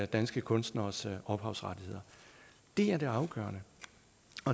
danske kunstneres ophavsrettigheder det er det afgørende